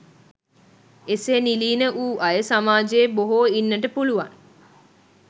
එසේ නිලීන වූ අය සමාජයේ බොහෝ ඉන්නට පුළුවන්.